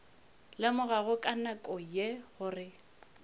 lemogago ka nako ye gore